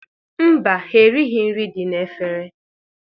Mba, ha erighi nri dị n'efere.